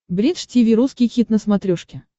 бридж тиви русский хит на смотрешке